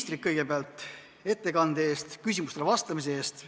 Tänan kõigepealt ministrit ettekande ja küsimustele vastamise eest.